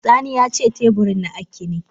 Sani yace teburin na akkine.